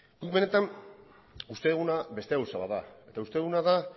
guk benetan uste duguna beste gauza bat da eta uste duguna da